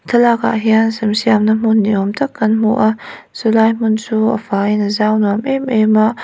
thlalakah hian sam siamna hmun ni awm tak kan hmu a chulai hmun chu a faiin a zau nuam êm êm a--